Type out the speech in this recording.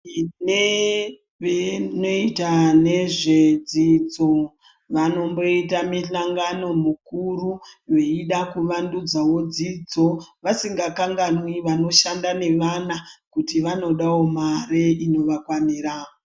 Nebhii inoita nezvedzidzo Vanomboita mihlangano mukuru veida kuvandudzawo dzidzo vasingakanwiwo vanoshande nevana kuti vanodawo mare inovakwanira.